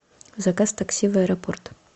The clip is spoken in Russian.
заказ такси в аэропорт